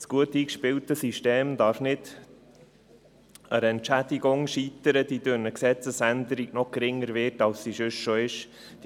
Das gut eingespielte System darf nicht an der Entschädigung scheitern, welche durch die Gesetzesänderung noch geringer wird, als sie es sonst schon ist.